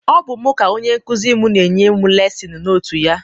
Ọ bụ m ka onye nkụzi m na-enye m lesin notu ya.